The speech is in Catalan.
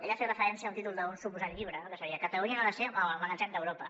ell ha fet referència a un títol d’un suposat llibre que seria catalunya no ha de ser el magatzem d’europa